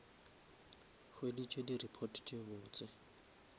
hweditse di report tse botse